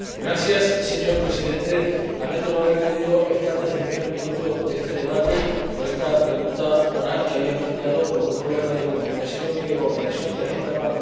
Señor Presidente, lamento no haber podido estar presente desde el primer minuto en este debate sobre la pregunta oral que había planteado, por un problema de comunicación y de coordinación de las actividades parlamentarias.